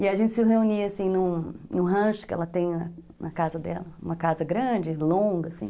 E a gente se reunia, assim, em um rancho que ela tem na casa dela, uma casa grande, longa, assim